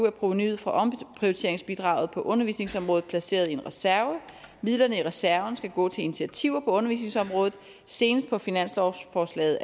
er provenuet fra omprioriteringsbidraget på undervisningsområdet placeret i en reserve midlerne i reserven skal gå til initiativer på undervisningsområdet senest på finanslovsforslaget